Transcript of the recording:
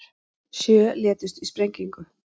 Sjö létust í sprengingu